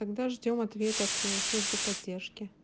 тогда ждём ответ от службы поддержки